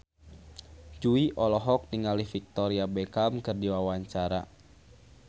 Jui olohok ningali Victoria Beckham keur diwawancara